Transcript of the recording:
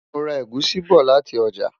mọ rà egusi bó láti ọjà